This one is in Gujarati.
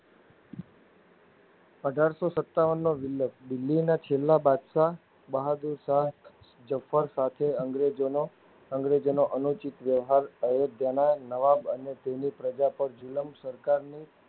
અઢારસો સતાવનનો વિપ્લવ દિલ્લીના છેલ્લા બાદશાહ બહાદુર શાહ ઝફર સાથે અંગ્રેજોનો અંગ્રેજોનો અનુચિત વ્યવહાર અયોધ્યાના નવાબ અને તેની પ્રજા પર ઝુલ્મ સરકારની